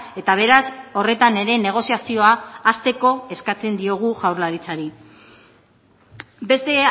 eta beraz horretan ere negoziazioa hasteko eskatzen diogu jaurlaritzari beste